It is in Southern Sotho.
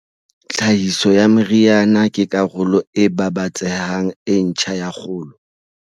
Tlhahiso ya meriana ke karolo e babatsehang e ntjha ya kgolo.